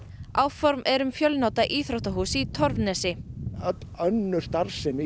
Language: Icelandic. áform eru um fjölnota íþróttahús í Torfnesi öll önnur starfsemi